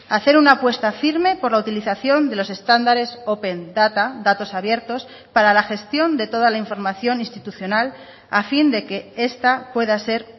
hacer una apuesta firme por la utilización de los estándares open data datos abiertos para la gestión de toda la información institucional a fin de que esta pueda ser